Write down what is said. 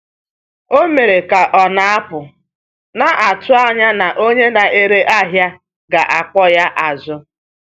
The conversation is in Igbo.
Ọ mere ka ọ na-apụ, na-atụ anya na onye na-ere ahịa ga-akpọ ya azụ.